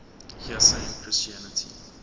heresy in christianity